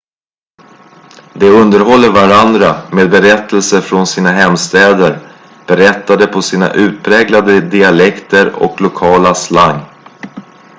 de underhåller varandra med berättelser från sina hemstäder berättade på sina utpräglade dialekter och lokala slang